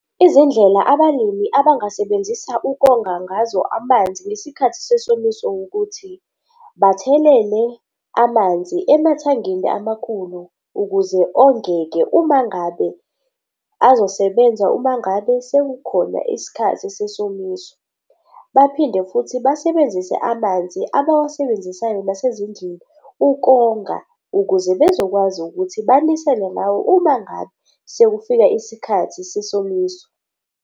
Izindlela abalimi abangasebenzisa ukonga ngazo amanzi ngesikhathi sesomiso wukuthi bathelele amanzi emathangini amakhulu ukuze ongeke uma ngabe azosebenza uma ngabe sekukhona isikhathi sesomiso. Baphinde futhi basebenzise amanzi abawusebenzisayo nasezindlini ukonga ukuze bezokwazi ukuthi banisele ngawo uma ngabe sekufika isikhathi sesomiso.